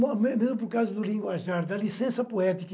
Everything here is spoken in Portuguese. por causa do linguajar, da licença poética.